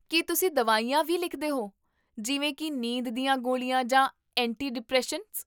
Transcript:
ਕੀ ਤੁਸੀਂ ਦਵਾਈਆਂ ਵੀ ਲਿਖਦੇ ਹੋ, ਜਿਵੇਂ ਕੀ ਨੀਂਦ ਦੀਆਂ ਗੋਲੀਆਂ ਜਾਂ ਐਂਟੀ ਡਿਪ੍ਰੈਸੈਂਟਸ?